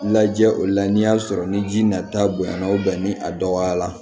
Lajɛ olu la n'i y'a sɔrɔ ni ji nata bonya na ni a dɔgɔyara